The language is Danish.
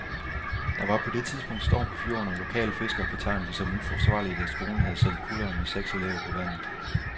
Der var på det tidspunkt storm på fjorden, og lokale fiskere betegner det som uforsvarligt, at skolen havde sendt kutteren med seks elever på vandet.